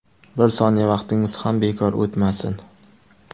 Bir soniya vaqtingiz ham bekor o‘tmasin!